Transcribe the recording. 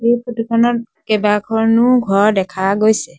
এই ফটো খনত কেইবাখনো ঘৰ দেখা গৈছে।